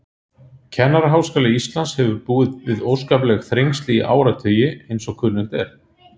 Kennaraháskóli Íslands hefur búið við óskapleg þrengsli í áratugi, eins og kunnugt er.